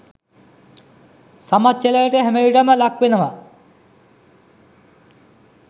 සමච්චලයට හැමවිටම ලක් වෙනව.